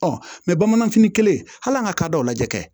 mɛ bamananfini kelen hali an ka k'a da o lajɛ